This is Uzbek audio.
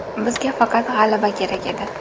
Bizga faqat g‘alaba kerak edi.